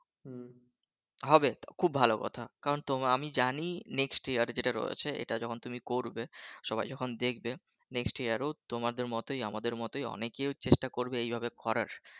হবে খুব ভালো কথা কিন্তু আমি জানি next যার যেটা রয়েছে এটা যখন তুমি করবে সবাই যখন দেখবে next যার ও তোমাদের মতই আমাদের মতই অনেকে চেষ্টা করবে এভাবে করার